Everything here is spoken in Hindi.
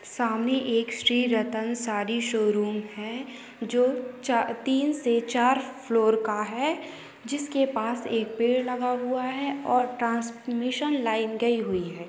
सामने एक श्री रतन सारी शोरूम है जो चा तीन से चार फ्लोर का है जिसके पास एक पेड़ लगाहुआ है और ट्रान्समेशन लाइन गई हुई हैं।